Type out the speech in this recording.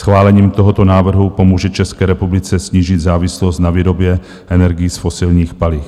Schválením tohoto návrhu pomůže České republice snížit závislost na výrobě energií z fosilních paliv.